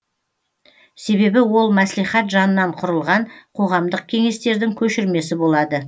себебі ол мәслихат жанынан құрылған қоғамдық кеңестердің көшірмесі болады